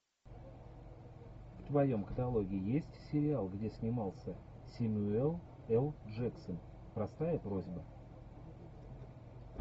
в твоем каталоге есть сериал где снимался сэмюэл л джексон простая просьба